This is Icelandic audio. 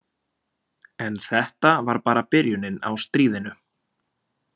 En þetta var bara byrjunin á stríðinu.